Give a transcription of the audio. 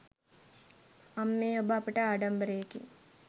අම්මේ ඔබ අපට ආඩම්බරයෙකි.